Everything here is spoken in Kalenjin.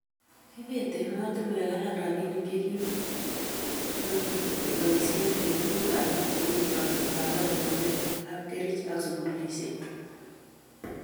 kiibet emotinwek alak robinik che kimukeboisie eng' tuguk alak cheu teksetab ortinwek, kapkerich ak sukulisiek